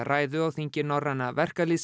ræðu á þingi Norræna